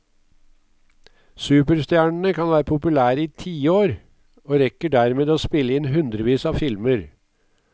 Superstjernene kan være populære i tiår, og rekker dermed å spille inn hundrevis av filmer.